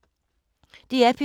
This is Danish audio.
DR P2